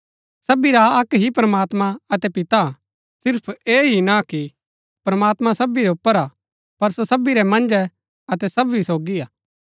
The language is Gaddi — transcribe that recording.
सबी रा अक्क ही प्रमात्मां अतै पिता हा सिर्फ ऐह ही ना कि प्रमात्मां सबी रै ऊपर हा पर सो सबी रै मन्ज अतै सबी सोगी हा